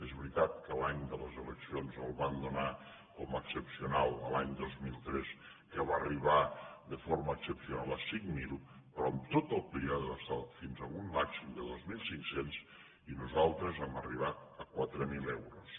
és veritat que l’any de les e leccions el van donar com a excepcional l’any dos mil tres que va arribar de forma excepcional a cinc mil però en tot el període va estar fins a un màxim de dos mil cinc cents i nosaltres hem arribat a quatre mil euros